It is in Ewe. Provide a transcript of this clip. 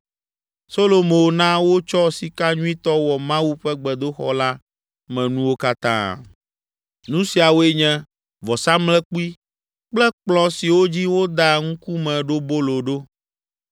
Solomo na wotsɔ sika nyuitɔ wɔ Mawu ƒe gbedoxɔ la me nuwo katã. Nu siawoe nye: vɔsamlekpui kple kplɔ̃ siwo dzi wodaa Ŋkumeɖobolo ɖo.